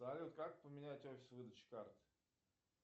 салют как поменять офис выдачи карты